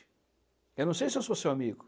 Eu não sei se eu sou seu amigo.